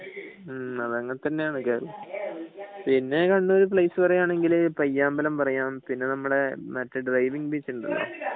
അത് അങ്ങനെ തന്നെയാണ് പിന്നെ കണ്ണൂര് പ്ലെയ്സ് പറയാണെങ്കില് പയ്യാമ്പലം പറയാം പിന്നെ നമ്മളെ ഡ്രൈവിംഗ് ബീച്ച് ഉണ്ടല്ലോ